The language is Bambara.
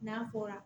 N'a fɔra